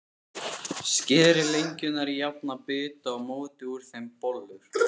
Skerið lengjurnar í jafna bita og mótið úr þeim bollur.